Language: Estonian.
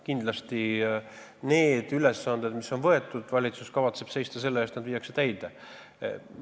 Kindlasti kavatseb valitsus seista selle eest, et need ülesanded, mis on võetud, viiakse täide.